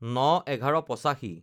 ০৯/১১/৮৫